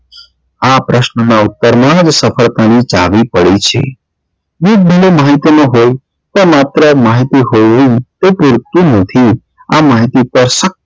આ પ્રશ્ન નાં ઉત્તર માં જ સફળતા ની ચાવી પડી છે માહિતી માં હોય કે માત્ર માહિતી હોવી એ પુરતું નથી